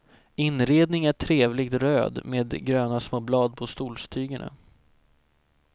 Inredning är trevligt röd med gröna små blad på stolstygerna.